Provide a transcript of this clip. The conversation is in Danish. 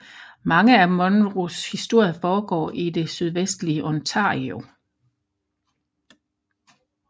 Mange af Munros historier foregår i det sydvestlige Ontario